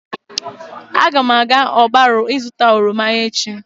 Agam aga ogbaru ịzuta oroma echi